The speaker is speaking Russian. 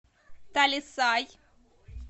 талисай